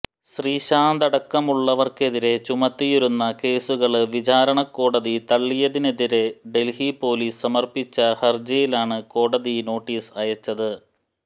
ശ്രീശാന്തടക്കമുള്ളവര്ക്കെതിരെ ചുമത്തിയിരുന്ന കേസുകള് വിചാരണക്കോടതി തള്ളിയതിനെതിരെ ഡല്ഹി പോലീസ് സമര്പ്പിച്ച ഹര്ജിയിലാണ് കോടതി നോട്ടീസ് അയച്ചത്